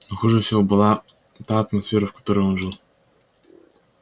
но хуже всего была та атмосфера в которой он жил